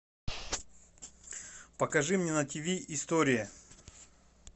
покажи мне на тиви история